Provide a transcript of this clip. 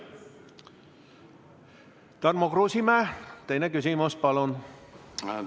Tarmo Kruusimäe, teine küsimus, palun!